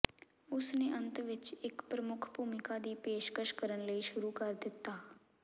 ਉਸ ਨੇ ਅੰਤ ਵਿੱਚ ਇੱਕ ਪ੍ਰਮੁੱਖ ਭੂਮਿਕਾ ਦੀ ਪੇਸ਼ਕਸ਼ ਕਰਨ ਲਈ ਸ਼ੁਰੂ ਕਰ ਦਿੱਤਾ